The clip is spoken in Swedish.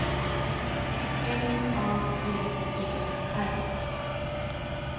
M A G E R